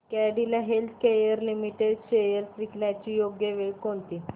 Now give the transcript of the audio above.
Cadila healthcare limited shares विकण्याची योग्य वेळ कोणती